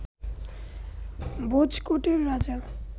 ভোজকটের রাজা